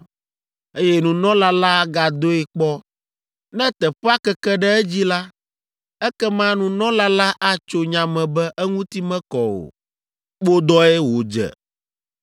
Eye nunɔla la agadoe kpɔ. Ne teƒea keke ɖe edzi la, ekema nunɔla la atso nya me be eŋuti mekɔ o, kpodɔe wòdze.